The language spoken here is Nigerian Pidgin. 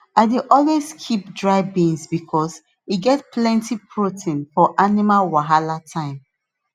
i dey always keep dry beans because e get plenty protein for animal wahala time